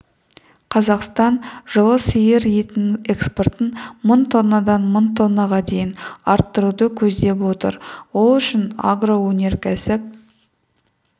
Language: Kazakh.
қазақстан жылы сиыр етінің экспортын мың тоннадан мың тоннаға дейін арттыруды көздеп отыр ол үшін агроөнеркәсіп